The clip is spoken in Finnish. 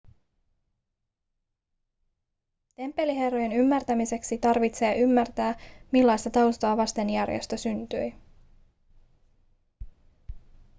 temppeliherrojen ymmärtämiseksi tarvitsee ymmärtää millaista taustaa vasten järjestö syntyi